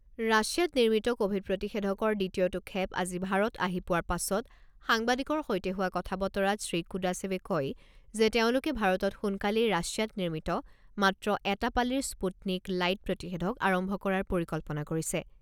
ৰাছিয়াত নিৰ্মিত ক'ভিড প্ৰতিষেধকৰ দ্বিতীয়টো খেপ আজি ভাৰত আহি পোৱা পাছত সাংবাদিকৰ সৈতে হোৱা কথা বতৰাত শ্ৰীকুদাশেবে কয় যে তেওঁলোকে ভাৰতত সোনকালেই ৰাছিয়াত নিৰ্মিত মাত্ৰ এটা পালিৰ স্পুটনিক লাইট প্ৰতিষেধক আৰম্ভ কৰাৰ পৰিকল্পনা কৰিছে।